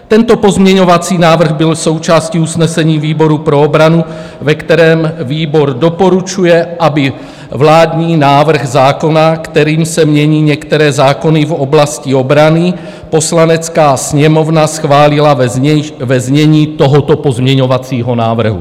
Tento pozměňovací návrh byl součástí usnesení výboru pro obranu, ve kterém výbor doporučuje, aby vládní návrh zákona, kterým se mění některé zákony v oblasti obrany, Poslanecká sněmovna schválila ve znění tohoto pozměňovacího návrhu.